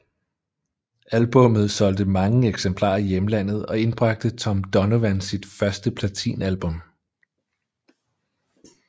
Albummet solgte mange eksemplarer i hjemlandet og indbragte Tom Donovan sit første platinalbum